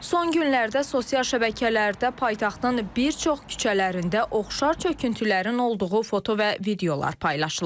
Son günlərdə sosial şəbəkələrdə paytaxtın bir çox küçələrində oxşar çöküntülərin olduğu foto və videolar paylaşılıb.